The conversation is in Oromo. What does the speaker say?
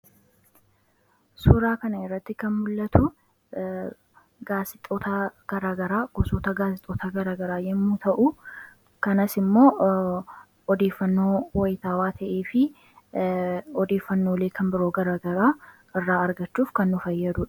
suuraa kana irratti kan mul'atu gaasixootaa garaagara gosoota gaasixoota garagaraa yommuu ta'u kanas immoo odeefannoo waytaawaa ta'ee fi odeefannoo leekan biroo garaagaraa irraa argachuuf kan nu fayyadu